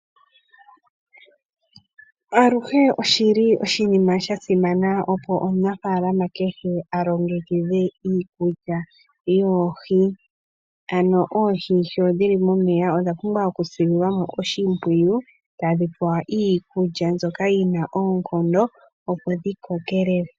Aluhe oshili oshinima shasimana opo omunafalama alongekidhe iikulya yoohi ano oohi sho dhili momeya odha pumbwa okusililwamo oshimpwiyu tadhi pewa iikulya mbyoka yina oonkondo opo dhikokelele.